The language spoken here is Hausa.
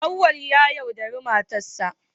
Auwal ya yaudari matarsa